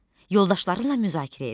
Yoldaşlarınla müzakirə et.